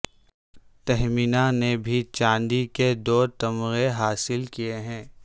تہمینہ نے بھی چاندی کے دو تمغے حاصل کیے ہیں